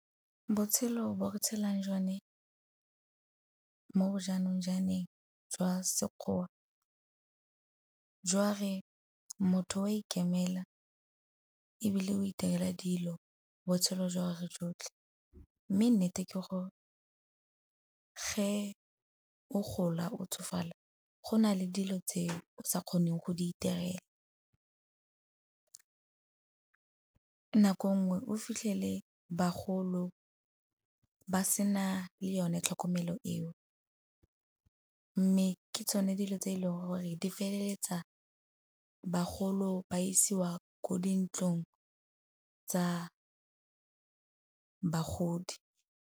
Botshelo bo re tshelang jone mo bo jaanong jaaneng jwa Sekgowa, jwa re motho wa ikemelela ebile o iterela dilo botshelo jwa gagwe jotlhe. Mme nnete ke gore ge o gola o tsofala go na le dilo tseo o sa kgoneng go di iterela. Nako nngwe o fitlhele bagolo ba sena le yone tlhokomelo eo, mme ke tsone dilo tse e leng gore di feleletsa bagolo ba isiwa ko dintlong tsa bagodi.